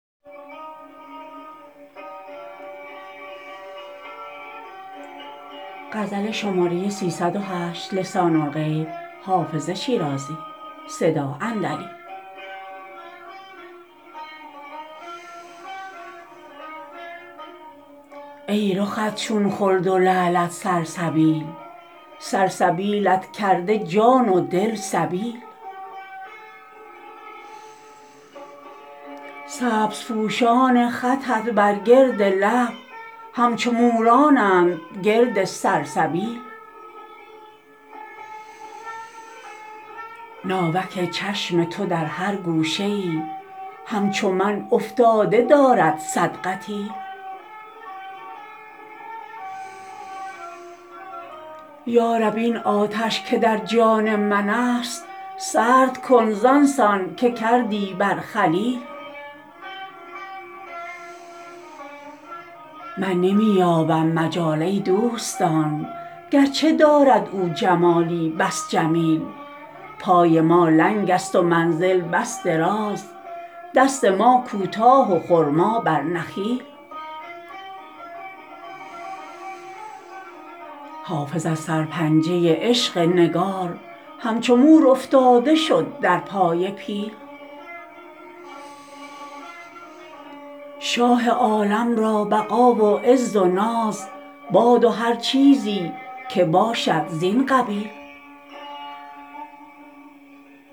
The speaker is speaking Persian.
ای رخت چون خلد و لعلت سلسبیل سلسبیلت کرده جان و دل سبیل سبزپوشان خطت بر گرد لب همچو مورانند گرد سلسبیل ناوک چشم تو در هر گوشه ای همچو من افتاده دارد صد قتیل یا رب این آتش که در جان من است سرد کن زان سان که کردی بر خلیل من نمی یابم مجال ای دوستان گرچه دارد او جمالی بس جمیل پای ما لنگ است و منزل بس دراز دست ما کوتاه و خرما بر نخیل حافظ از سرپنجه عشق نگار همچو مور افتاده شد در پای پیل شاه عالم را بقا و عز و ناز باد و هر چیزی که باشد زین قبیل